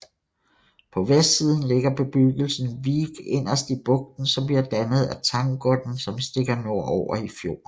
På vestsiden ligger bebyggelsen Vik inderst i bugten som bliver dannet af Tangodden som stikker nordover i fjorden